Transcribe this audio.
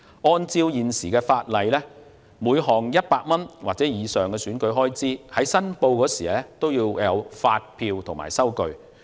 按照現行法例，每項100元或以上的選舉開支，在申報時須附上發票及收據。